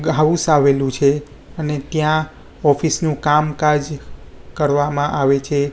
House આવેલુ છે અને ત્યાં ઑફિસ નુ કામકાજ કરવામાં આવે છે.